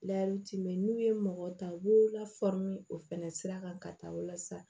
n'u ye mɔgɔ ta u b'u lafaamu o fɛnɛ sira kan ka taa walasa